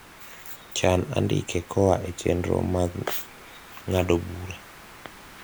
chan andike koa e chenro mag ngado bura